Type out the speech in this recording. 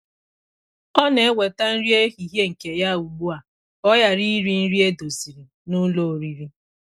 Ọ na-eweta nri ehihie nke ya ugbu a ka ọ ghara iri nri edoziri na ụlọoriri.